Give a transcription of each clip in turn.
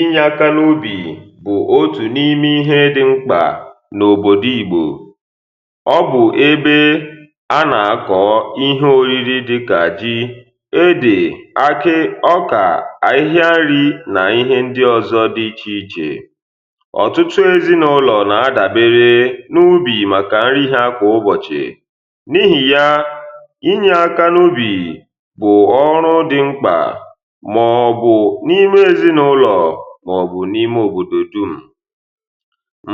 inye akȧ n’ubì bụ̀ otù n’ime ihe dị̇ mkpà n’òbò dị ìgbò ọ bụ̀ ebe anà-akọ̀ọ ihe òriri dịkà ji, edè akị̇, ọkà, ahịhịa nri nà ihe ndị ọ̀zọ dị ichè ichè. ọ̀tụtụ ezinàụlọ̀ nà-adàbere n’ubì màkà nrihi akọ̀ ụbọ̀chị̀. n’ihì ya inye akȧ n’ubì bụ̀ ọrụ dị mkpà, maọ̀bụ̀ n’ime òbòdò dum.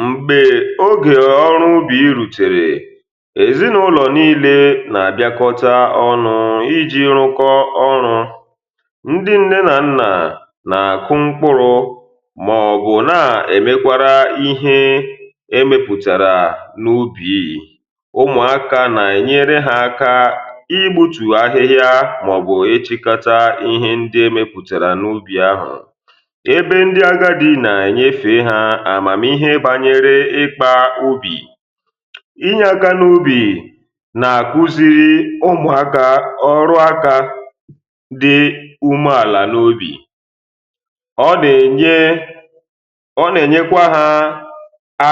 m̀gbè ogè ọrụ ubì rùtèrè, èzinàụlọ̀ n’ile nà-àbịakọta ọnụ̇ iji̇ rụkọ ọrụ̇. ndị ǹne nà nnà nà-àkụ mkpụrụ, maọ̀bụ̀ na-èmekwara ihe emepùtàrà n’ubì. umùaka nà-ènyere ha aka igbùtù ahịhịa um maọ̀bụ̀ echikata ihe ndị, ebe ndị agadi nà-ènyefè ha àmàmì ihe bànyere ikpa obì.inye agȧ n’ubì nà-àkuziri ugbȯ aka ọrụ aka dị umeàlà n’ubì, ọ nà-ènye, ọ nà-ènyekwa ha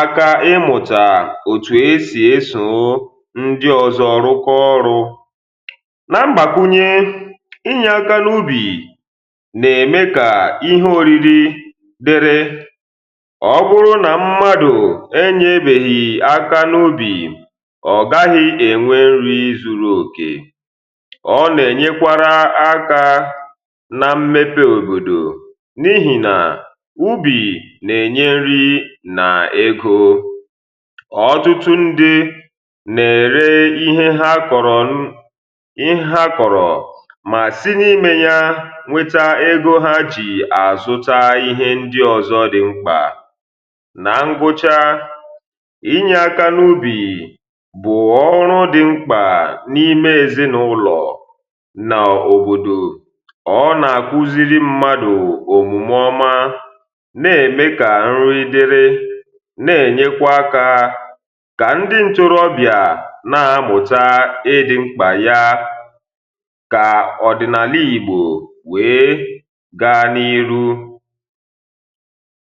aka ịmụ̀tà òtù esì esò ndị ọ̀zọ rụkọ ọrụ̇. na mbàkụnye, inye aka n’ubì dere, ọ bụrụ na mmadụ̀ enyebeghì aka n’ụbì, ọ gaghị̇ enwe nri zuru okè. ọ na-enyekwara aka na mmepe òbòdò, n’ihi na ụbì na-enye nri na egȯ. ọtụtụ ndị na-ere ihe ha kọrọ, ihe ha kọrọ mà sinye ime ya a ọ̀zọ màkà ife ụlọ̀ ǹke na-enye akà ọrụ. yȧ mmiri ọrụ̇, yȧ mmiri n’imė ọ̀zọ, yȧ mmiri n’imėpȧ ọ̀zọ, yȧ mmiri n’imėpȧ ọ̀zọ um, yȧ mmiri ọrụ̇ kpèbìri n’àlà màkà ife ụlọ̀. bụ̀ kà ndị ntoroọbìa nà-amụ̀ta ịdị̇ mkpà ya, ya nà ìru.